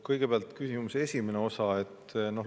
Kõigepealt küsimuse esimene osa.